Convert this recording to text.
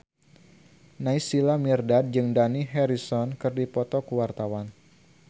Naysila Mirdad jeung Dani Harrison keur dipoto ku wartawan